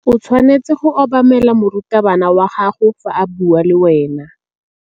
O tshwanetse go obamela morutabana wa gago fa a bua le wena.